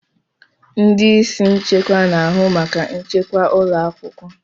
Ndị isi nchekwa na-ahụ maka nchekwa ụlọ akwụkwọ.